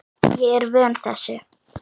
Ég er vön þessu.